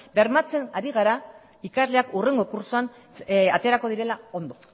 bermatzen ari gara ikasleak hurrengo kurtsoan aterako direla ondo